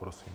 Prosím.